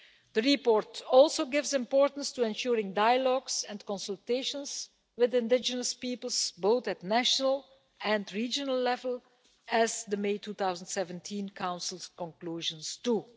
The report also attaches importance to ensuring dialogues and consultations with indigenous peoples, at both national and regional level, as the May 2017 Council conclusions note too.